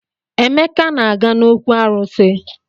Emeka na-aga n'òkwù arụsị.